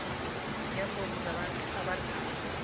neembongo zabantu abadala